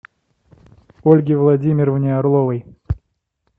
ольге владимировне орловой